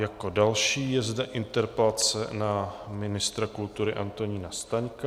Jako další je zde interpelace na ministra kultury Antonína Staňka.